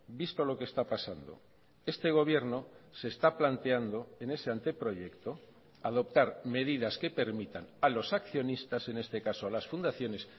visto lo que está pasando este gobierno se está planteando en ese anteproyecto adoptar medidas que permitan a los accionistas en este caso a las fundaciones